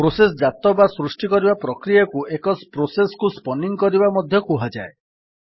process ଜାତ ବା ସୃଷ୍ଟି କରିବା ପ୍ରକ୍ରିୟାକୁ ଏକ ପ୍ରୋସେସ୍ କୁ ସ୍ପନିଙ୍ଗ୍ କରିବା ମଧ୍ୟ କୁହାଯାଏ